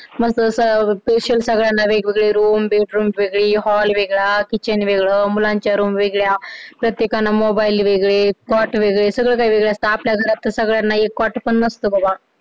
मस्त असं special सगळ्यांना वेगवेगळे room वेगळी hall वेगळा kitchen वेगळं मुलांच्या room वेगळा प्रत्येकानं mobile वेगळे वेगळे सगळं वेगळं असतं आपल्या घरात तर सगळ्यांना एक क्वाट पण नसतं बाबा